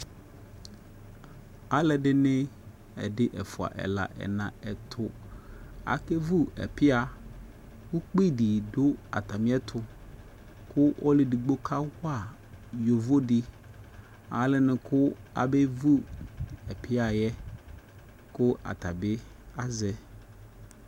Alu ɛdi ni ɛdι ɛfua ɛla ɛna ɛtu aka vu ɛpia ku kpi di du ata mi yɛ tu Ku ɔlu ɛdigboka wa yovo di alɛ nɛku abɛ vu ɛpia yɛ ku ata bi azɛ